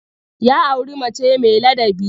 Ya auri mace mai ladabi.